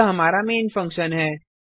यह हमारा main function है